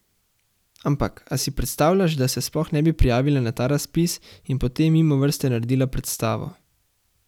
Ampak a si predstavljaš, da se sploh ne bi prijavila na ta razpis in potem mimo vrste naredila predstavo?